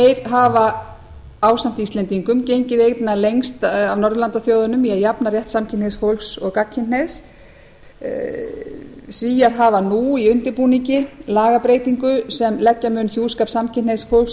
hafa ásamt íslendingum gengið einna lengst af norðurlandaþjóðunum í að jafna rétt samkynhneigðs fólks og gagnkynhneigðs svíar hafa nú í undirbúningi lagabreytingu sem leggja mun hjúskap samkynhneigðs fólks